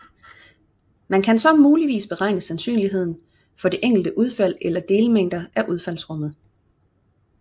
Man kan så muligvis beregne sandsynligheden for det enkelte udfald eller delmængder af udfaldsrummet